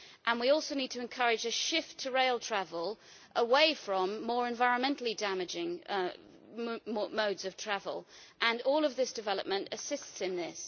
We also need to encourage a shift to rail travel away from more environmentally damaging modes of travel, and all of this development assistance in this.